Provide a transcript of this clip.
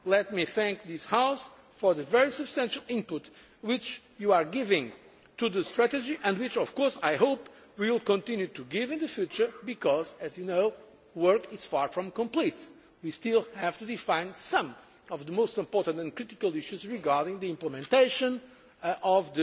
Let me thank this House for the very substantial input which you are giving to the strategy and which, of course, I hope we will continue to give in the future because, as you know, work is far from complete. We still have to define some of the most important and critical issues regarding the implementation